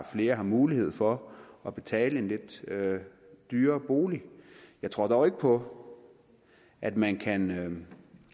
flere har mulighed for at betale en lidt dyrere bolig jeg tror dog ikke på at man kan